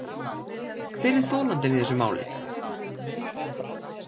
Hver er þolandinn í þessu máli.